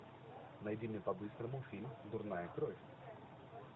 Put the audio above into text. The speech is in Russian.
найди мне по быстрому фильм дурная кровь